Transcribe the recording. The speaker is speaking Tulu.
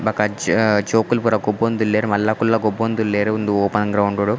ಬೊಕ್ಕ ಜೋಕುಲು ಪೂರ ಗೊಬ್ಬೊಂದುಲ್ಲೆರ್ ಮಲ್ಲಕುಲ್ಲ ಗೊಬ್ಬೊಂದುಲ್ಲೆರ್ ಉಂದು ಓಪೆನ್ ಗ್ರೌಂಡ್ ಡು .